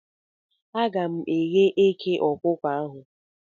Aga m eghe eke okuko ahu